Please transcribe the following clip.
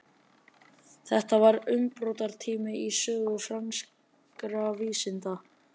þetta voru umbrotatímar í sögu franskra vísinda